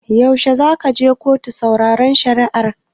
Yaushe zaka je kotu sauraron shari'ar?